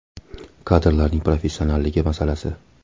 Kadrlarning professionalligi masalasi.